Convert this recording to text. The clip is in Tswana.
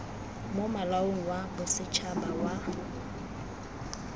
mo molaong wa bosetshaba wa